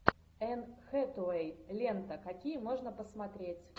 энн хэтэуэй лента какие можно посмотреть